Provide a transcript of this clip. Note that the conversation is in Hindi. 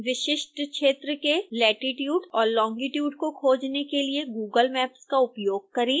विशिष्ट क्षेत्र के लेटिट्यूड और लोंगिट्यूड को खोजने के लिए google maps का उपयोग करें